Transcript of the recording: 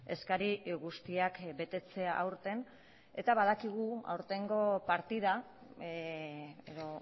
eskari guztiak betetzea aurten eta badakigu aurtengo partida edo